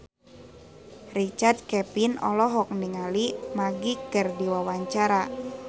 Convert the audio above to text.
Richard Kevin olohok ningali Magic keur diwawancara